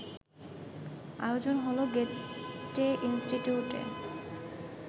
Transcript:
আয়োজন হলো গ্যেটে ইনস্টিটিউটে